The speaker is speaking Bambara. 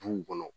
Duw kɔnɔ